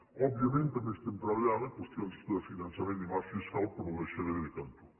òbviament també estem treballant en qüestions de finançament i marc fiscal però ho deixaré de cantó